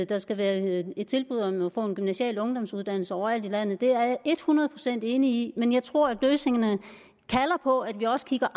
der skal være et tilbud om at få en gymnasial ungdomsuddannelse overalt i landet det er jeg et hundrede procent enig i men jeg tror på at løsningerne kalder på at vi også kigger